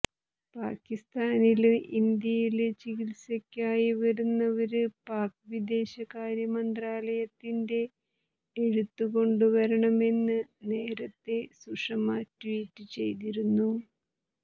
പാകിസ്താനില് ഇന്ത്യയില് ചികിത്സക്കായി വരുന്നവര് പാക് വിദേശകാര്യ മന്ത്രാലയത്തിന്റെ എഴുത്ത കൊണ്ടുവരണമെന്ന് നേരത്തെ സുഷമ ട്വീറ്റ് ചെയ്തിരുന്നു